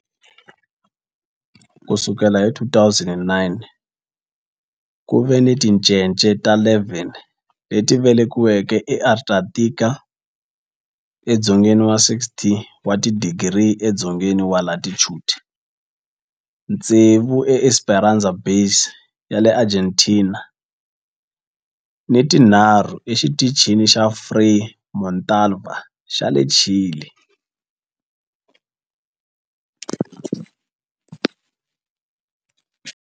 Ku sukela hi 2009, ku ve ni tincece ta 11 leti velekiweke eAntarctica, edzongeni wa 60 wa tidigri edzongeni wa latitude, tsevu eEsperanza Base ya le Argentina ni tinharhu eXitichini xa Frei Montalva xa le Chile.